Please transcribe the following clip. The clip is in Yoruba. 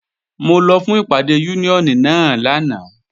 Mo lọ fún ìpàdé Úníónì náà lánàá